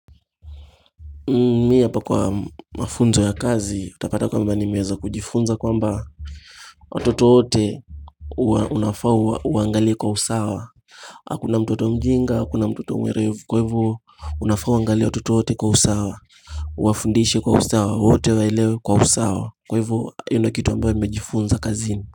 Mimi hapa kwa mafunzo ya kazi utapata kwamba nimeweza kujifunza kwamba wakati wowote unafaa uangalie kwa usawa Hakuna mtoto mjinga, hakuna mtoto mwerevu kwa hivo unafaa uangalie watoto wote kwa usawa wafundishe kwa usawa, wote waelewe kwa usawa, kwa hivo ile kitu ambayo nimejifunza kazini.